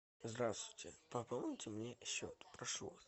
здравствуйте пополните мне счет прошу вас